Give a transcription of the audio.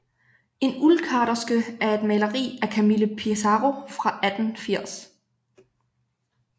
En uldkarterske er et maleri af Camille Pissarro fra 1880